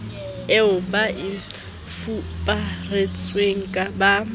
eo ba e fuparisitsweng ba